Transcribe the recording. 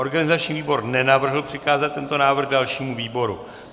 Organizační výbor nenavrhl přikázat tento návrh dalšímu výboru.